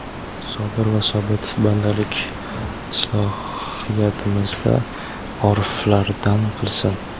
Sobir va sobit bandalik islohiyatimizda oriflardan qilsin!.